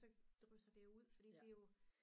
så drysser det jo ud